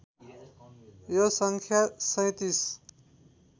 यो सङ्ख्या ३७